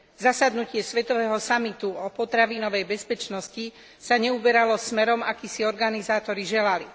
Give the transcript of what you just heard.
Zasadnutie svetového samitu o potravinovej bezpečnosti sa neuberalo smerom, aký si organizátori želali.